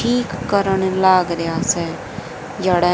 ठीक करण लाग रिया स जड़ह --